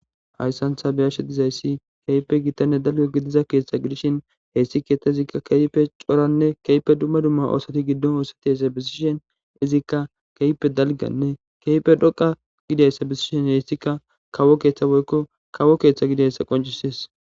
Hayssantha beyashe dizayssi keype gittanne dalga gidiza keeththa gidishin heyssi keeththa izikka keype coranne keype dumma dumma oosati giddon oosati hessa bisishen izikka keype dalganne keype dhoqa gidayssa bisishen heyssikka kawo keeththa boykko kawo keeththa gidayssa qoncises.